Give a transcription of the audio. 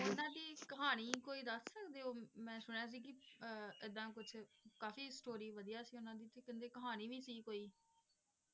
ਉਨ੍ਹਾਂ ਦੀ ਕਹਾਣੀ ਕੋਈ ਦੱਸ ਸਕਦੇ ਹੋ ਮੇਨੇ ਸੁਣਿਆ ਸੀ ਕਿ ਕਿ ਇੱਦਾ ਕੁਛ ਕਾਫੀ ਸਟੋਰੀ ਵਧੀਆ ਸੀ ਉਨ੍ਹਾਂ ਦੀ ਤੇ ਕੇਂਦੇ ਕਹਾਣੀ ਵੀ ਸੀ ਕੋਈ।